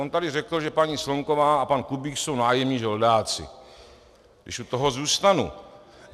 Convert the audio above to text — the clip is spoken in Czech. On tady řekl, že paní Slonková a pan Kubík jsou nájemní žoldáci, když u toho zůstanu.